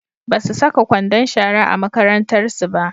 Basu saka kwandon shara a makarantarsu ba.